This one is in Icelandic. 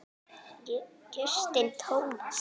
Justin Thomas